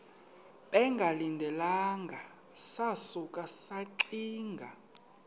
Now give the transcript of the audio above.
bengalindelanga sasuka saxinga